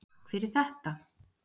Takk fyrir þetta.